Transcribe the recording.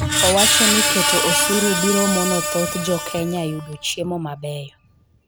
Owacho ni keto osuru biro mono thoth Jo Kenya yudo chiemo mabeyo.